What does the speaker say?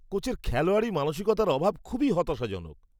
কোচের খেলোয়াড়ি মানসিকতার অভাব খুবই হতাশাজনক।